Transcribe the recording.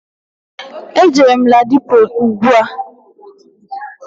Jere m Ladipo ugbua.